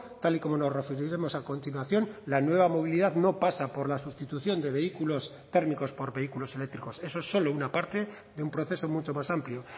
tal y como nos referiremos a continuación la nueva movilidad no pasa por la sustitución de vehículos térmicos por vehículos eléctricos eso es solo una parte de un proceso mucho más amplio